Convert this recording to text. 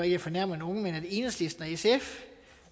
jeg fornærmer nogen at enhedslisten og sf